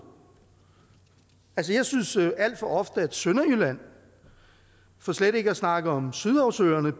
altså jeg synes alt for ofte at sønderjylland for slet ikke at snakke om sydhavsøerne